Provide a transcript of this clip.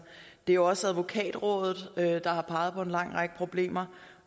det er også advokatrådet der har peget på en lang række problemer og